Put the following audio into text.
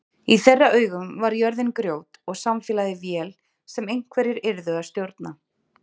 Í þeirra augum var jörðin grjót og samfélagið vél sem einhverjir yrðu að stjórna.